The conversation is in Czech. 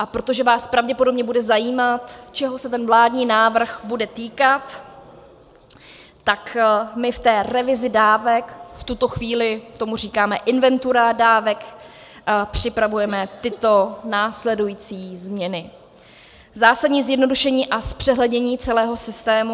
A protože vás pravděpodobně bude zajímat, čeho se ten vládní návrh bude týkat, tak my v té revizi dávek, v tuto chvílí tomu říkáme inventura dávek, připravujeme tyto následující změny: Zásadní zjednodušení a zpřehlednění celého systému.